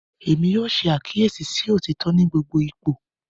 Èmí yóò ṣe àkíyèsí sí otitọ ní gbogbo ipò.